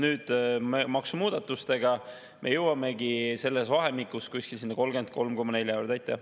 Nüüd, maksumuudatustega me jõuamegi selles vahemikus kuskil sinna 33,4% juurde.